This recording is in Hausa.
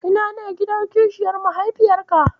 Ina ne gidan kishiyar mahaifiyarka?